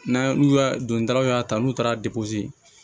N'a n'u y'a dontaw y'a ta n'u taara